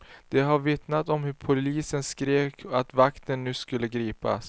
De har vittnat om hur poliserna skrek att vakten nu skulle gripas.